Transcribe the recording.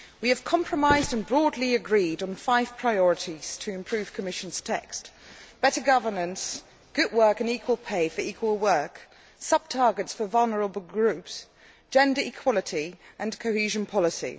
We have compromised and broadly agreed on five priorities to improve the Commission text better governance, good work and equal pay for equal work, sub targets for vulnerable groups, gender equality and cohesion policy.